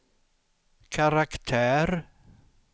karaktär